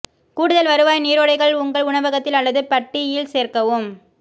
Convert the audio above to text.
கூடுதல் வருவாய் நீரோடைகள் உங்கள் உணவகத்தில் அல்லது பட்டியில் சேர்க்கவும்